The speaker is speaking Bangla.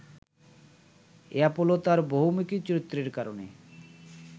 অ্যাপোলো তাঁর বহুমুখী চরিত্রের কারণে